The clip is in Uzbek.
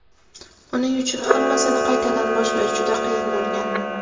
Uning uchun hammasini qaytadan boshlash juda qiyin bo‘lgan.